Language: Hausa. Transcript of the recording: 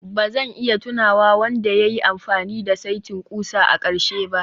Ba zan iya tunawa wanda ya yi amfani da saitin ƙusa a ƙarshe ba